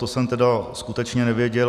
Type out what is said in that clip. To jsem tedy skutečně nevěděl.